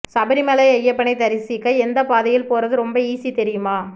சபரிமலை ஐயப்பனை தரிசிக்க எந்த பாதையில போறது ரொம்ப ஈஸி தெரியுமா